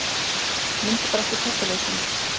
Mundu bara eftir kertaljósinu.